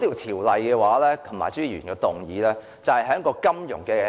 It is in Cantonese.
《條例草案》及朱議員的議案，就是在金融或......